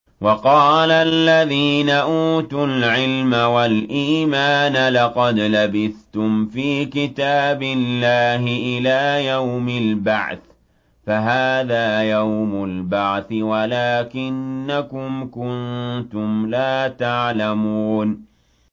وَقَالَ الَّذِينَ أُوتُوا الْعِلْمَ وَالْإِيمَانَ لَقَدْ لَبِثْتُمْ فِي كِتَابِ اللَّهِ إِلَىٰ يَوْمِ الْبَعْثِ ۖ فَهَٰذَا يَوْمُ الْبَعْثِ وَلَٰكِنَّكُمْ كُنتُمْ لَا تَعْلَمُونَ